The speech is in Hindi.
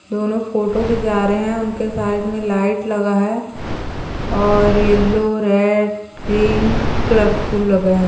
दोनों फोटो खींचा रहे है उनके साइड में लाइट लगा है और येलो रेड ग्रीन कलर फूल लगा है।